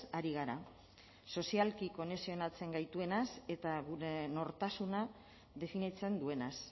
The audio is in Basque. ari gara sozialki konexionatzen gaituenaz eta gure nortasuna definitzen duenaz